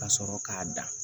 Ka sɔrɔ k'a dan